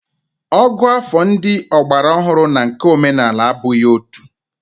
Ògụ́àfọ̀ ndị ọgbaraọhụrụ na nke omenala abụghị otu